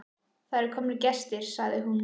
Það eru komnir gestir, sagði hún.